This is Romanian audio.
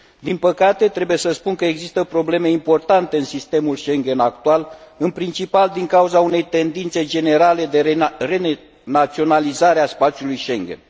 Din păcate, trebuie să spun că există probleme importante în sistemul Schengen actual, în principal din cauza unei tendințe generale de re naționalizare a spațiului Schengen.